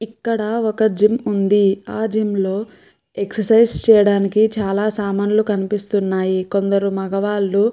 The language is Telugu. ఇక్కడ ఒక జిమ్ ఉంది. ఆ జిమ్ లో ఎక్సర్సిస్ చేయడానికి చాలా సామాన్లు కనిపిస్తున్నాయి. కొందరు మగవాళ్లు --